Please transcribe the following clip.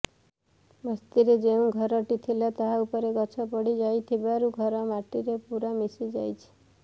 ବସ୍ତିରେ ଯେଉଁ ଘରଟି ଥିଲା ତାହା ଉପରେ ଗଛ ପଡ଼ି ଯାଇଥିବାରୁ ଘର ମାଟିରେ ପୂରା ମିଶିଯାଇଛି